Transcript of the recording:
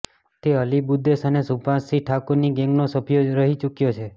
તે અલી બુદેશ અને સુભાષ સિંહ ઠાકુરની ગેંગનો સભ્યો રહી ચૂક્યો છે